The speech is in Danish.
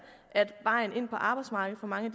at vejen ind på arbejdsmarkedet for mange